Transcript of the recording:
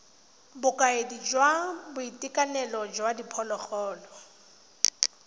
bokaedi jwa boitekanelo jwa diphologolo